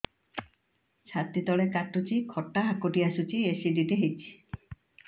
ଛାତି ତଳେ କାଟୁଚି ଖଟା ହାକୁଟି ଆସୁଚି ଏସିଡିଟି ହେଇଚି